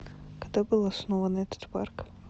когда был основан этот парк